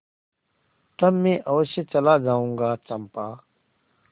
तब मैं अवश्य चला जाऊँगा चंपा